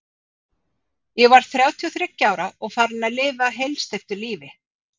Ég var þrjátíu og þriggja ára og farin að lifa heilsteyptu lífi.